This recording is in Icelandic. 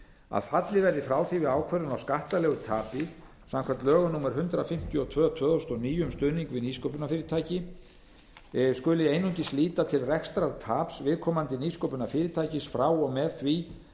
að fallið verði frá því að við ákvörðun á skattalegu tapi samkvæmt lögum númer hundrað fimmtíu og tvö tvö þúsund og níu um stuðning við nýsköpunarfyrirtæki skuli einungis líta til rekstrartaps viðkomandi nýsköpunarfyrirtækis frá og með því